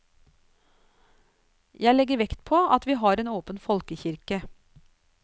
Jeg legger vekt på at vi har en åpen folkekirke.